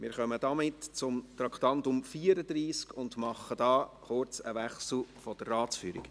Wir kommen zum Traktandum 34 und machen an dieser Stelle hier einen kurzen Wechsel in der Ratsführung.